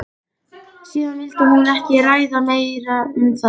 Síðan vildi hún ekki ræða meira um það.